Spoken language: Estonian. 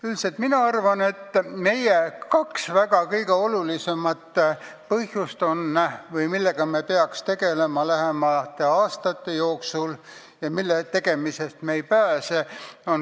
Üldiselt mina arvan, et meil on kaks olulist asja, millega me peaks lähemate aastate jooksul tegelema ja millega tegelemisest me ei pääse.